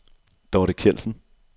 Dorthe Kjeldsen